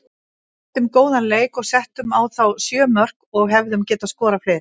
Sýndum góðan leik og settum á þá sjö mörk og hefðum getað skorað fleiri.